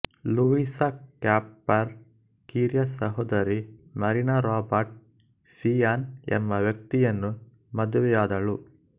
Louisa Capper ಕಿರಿಯ ಸಹೋದರಿ Marina Robert Sian ಎಂಬ ವ್ಯಕ್ತಿಯನ್ನು ಮದುವೆಯಾದಳು